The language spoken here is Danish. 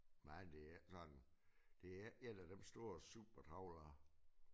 Men det er ikke sådan det er ikke en af dem store super trawlere